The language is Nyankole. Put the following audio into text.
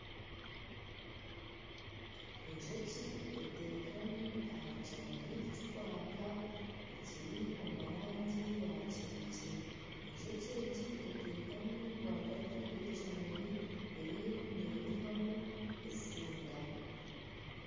Enjoki etekami aha kimuri kikwaka ekiri omu rangi ya kinekye . Enjoki egi etekami rwagati y'ekimuri eriyo neyihamu etsinda.